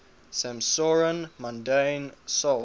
'samsarin mundane souls